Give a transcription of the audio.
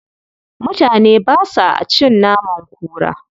Mutane ba sa a cin naman kura.